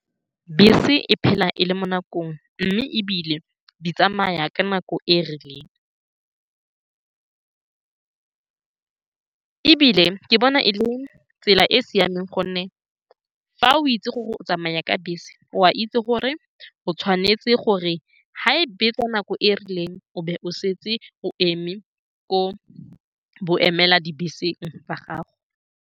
Bese e phela e le mo nakong, mme e bile di tsamaya ka nako e e rileng. Ebile ke bona e le tsela e e siameng, ka gonne fa o itse gore o tsamaya ka bese, o a itse gore fa e betsa nako e e rileng o tshwanetse go setse o eme ko boemela dibese ba gago.